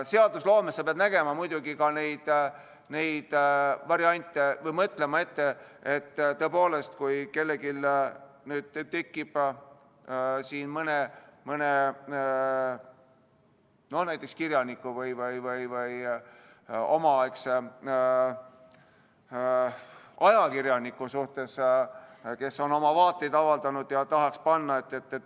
Seadusloomes pead sa nägema muidugi ka neid variante või mõtlema ette, et tõepoolest, äkki kellelgi tekib mõte näiteks mõne kirjaniku või omaaegse ajakirjaniku suhtes, kes on oma vaateid avaldanud, ja tahaks panna selle nime.